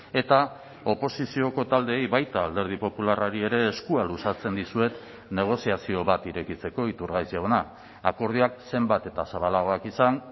eta oposizioko taldeei baita alderdi popularrari ere eskua luzatzen dizuet negoziazio bat irekitzeko iturgaiz jauna akordioak zenbat eta zabalagoak izan